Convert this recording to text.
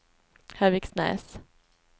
Höviksnäs